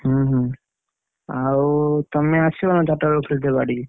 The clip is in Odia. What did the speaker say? ହୁଁ ହୁଁ ଆଉ ତମେ ଆସିବନା ଚାରିଟା ବେଳକୁ ଖେଳତେ ବାଡି?